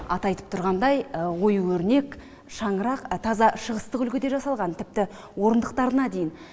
аты айтып тұрғандай ою өрнек шаңырақ таза шығыстық үлгіде жасалған тіпті орындықтарына дейін